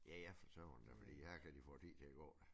Ja ja for søren da fordi her kan de få æ tid til at gå